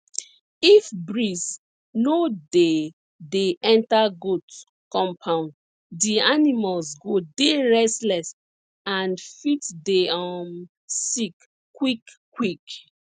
if breeze no dey dey enter goat compound di animals go dey restless and fit dey um sick quick quick